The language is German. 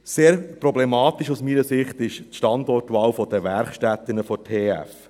Sehr problematisch aus meiner Sicht ist die Standortwahl der Werkstätten der TF.